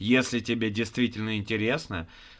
если тебе действительно интересно